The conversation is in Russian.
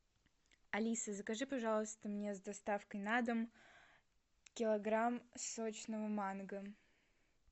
алиса закажи пожалуйста мне с доставкой на дом килограмм сочного манго